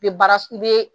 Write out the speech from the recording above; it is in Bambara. I bɛ baara i bɛ